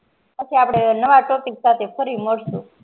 પછી આપડે નવા topic સાથે ફરી મલસુ